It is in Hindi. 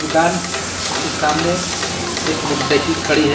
दुकान के सामने एक मोटर साईकिल खड़ी है।